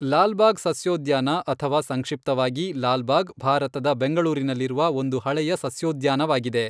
ಲಾಲ್ಬಾಗ್ ಸಸ್ಯೋದ್ಯಾನ ಅಥವಾ ಸಂಕ್ಷಿಪ್ತವಾಗಿ, ಲಾಲ್ಬಾಗ್ ಭಾರತದ ಬೆಂಗಳೂರಿನಲ್ಲಿರುವ ಒಂದು ಹಳೆಯ ಸಸ್ಯೋದ್ಯಾನವಾಗಿದೆ.